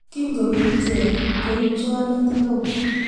kingobeek iche koib cholet neo